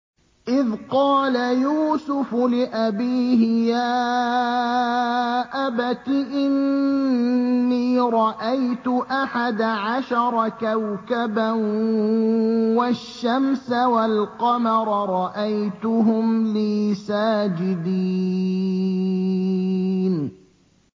إِذْ قَالَ يُوسُفُ لِأَبِيهِ يَا أَبَتِ إِنِّي رَأَيْتُ أَحَدَ عَشَرَ كَوْكَبًا وَالشَّمْسَ وَالْقَمَرَ رَأَيْتُهُمْ لِي سَاجِدِينَ